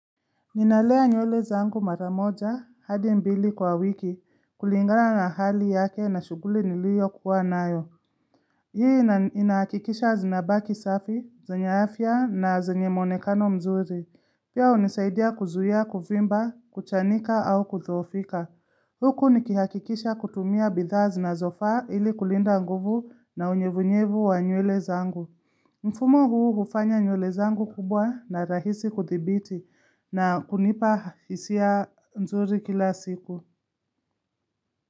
Ninalea nywele zangu mara moja hadi mbili kwa wiki kulingana na hali yake na shughuli nilio kuwa nayo. Hii inahakikisha zinabaki safi, zenye afya na zenye mwonekano mzuri. Pia unisaidia kuzuia, kuvimba, kuchanika au kudhoofika. Huku nikihakikisha kutumia bidhaa zinazofaa ili kulinda nguvu na unyevunyevu wa nywele zangu. Mfumo huu hufanya nywele zangu kubwa na rahisi kuthibiti na kunipa hisia nzuri kila siku.